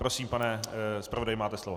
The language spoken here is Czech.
Prosím, pane zpravodaji, máte slovo.